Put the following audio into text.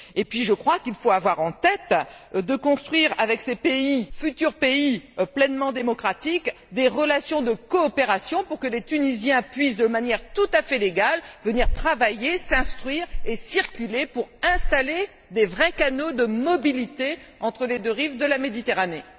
Et puis, je crois, qu'il faut avoir en tête de construire avec ces futurs pays pleinement démocratiques des relations de coopération pour que les Tunisiens puissent, de manière tout à fait légale, venir travailler, s'instruire et circuler, pour installer des vrais canaux de mobilité entre les deux rives de la Méditerranée.